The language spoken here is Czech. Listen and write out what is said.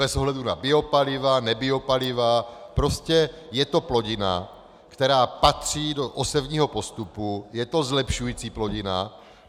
Bez ohledu na biopaliva - nebiopaliva, prostě je to plodina, která patří do osevního postupu, je to zlepšující plodina.